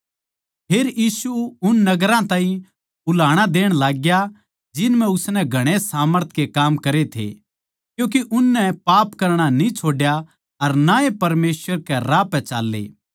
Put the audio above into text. फेर यीशु उन नगरां ताहीं उल्हाणा देण लाग्या जिन म्ह उसनै घणे सामर्थ के काम करे थे क्यूँके उननै पाप करणा न्ही छोड्या अर ना ए परमेसवर के राह पै चाल्लें